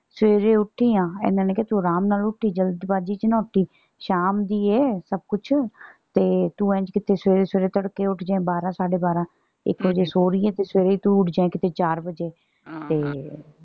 ਸਵੇਰੇ ਉੱਠੀ ਆ। ਇਹਨਾਂ ਨੇ ਕਿਹਾ ਤੂੰ ਆਰਾਮ ਨਾਲ ਉੱਠੀ ਜਲਦ ਬਾਜ਼ੀ ਚ ਨਾ ਉੱਠੀ। ਸ਼ਾਮ ਦੀ ਏ ਸੱਭ ਕੁਛ। ਤੇ ਤੂੰ ਇੰਝ ਕਿਤੇ ਸਵੇਰੇ ਸਵੇਰੇ ਤੜਕੇ ਉੱਠ ਜੇ ਬਾਰਾਂ ਸਾਡੇ ਬਾਰਾਂ। ਇਕ ਵਜੇ ਸੌ ਰਹੀ ਏ ਤੇ ਸਵੇਰੇ ਹੀ ਤੂੰ ਉੱਠ ਜੇ ਕਿਤੇ ਚਾਰ ਵਜੇ ਤੇ